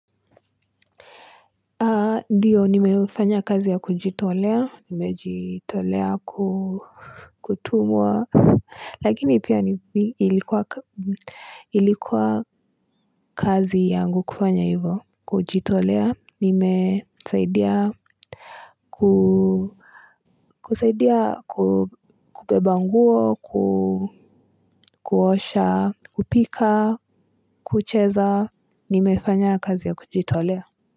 Ndiyo nimefanya kazi ya kujitolea, nimejitolea, ku kutumwa, lakini pia ilikuwa ilikuwa kazi yangu kufanya hivo, kujitolea, nimesaidia kusaidia kubeba nguo, kuosha, kupika, kucheza, nimefanya kazi ya kujitolea.